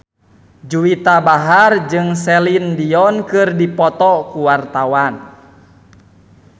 Juwita Bahar jeung Celine Dion keur dipoto ku wartawan